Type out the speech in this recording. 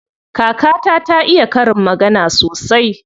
Kakata ta iya karin magana sosai.